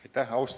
Aitäh!